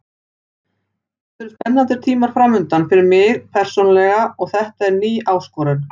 Þetta eru spennandi tímar framundan fyrir mig persónulega og þetta er ný áskorun.